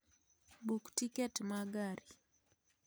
Buk tiket ma gari